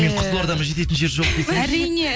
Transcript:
қызылордама жететін жер жоқ десеңізші әрине